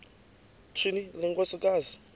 tyhini le nkosikazi